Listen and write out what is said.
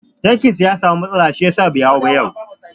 Tankin man sa ya samu matsala shi yasa bai hau ba yau